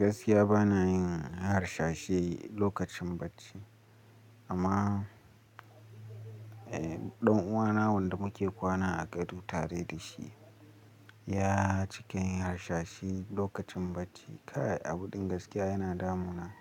Gaskiya ba na yin harsashi lokacin bacci, amma ɗan uwana wanda muke kwana a gado tare da shi, ya cika yin harsashi lokacin bacci. Kai abu ɗin gaskiya yana damuna